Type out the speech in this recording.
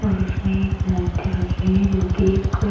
और उसमें एक मूर्ति रखी हुई है जो कि एक --